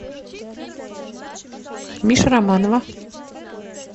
миша романова